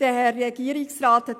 Regierungsrat